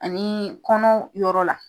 Ani kɔnɔ yɔrɔ la